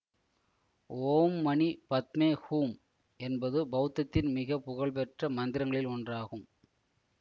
ஓம் மணி பத்மே ஹூம் என்பது பௌத்தத்தின் மிக புகழ்பெற்ற மந்திரங்களில் ஒன்றாகும்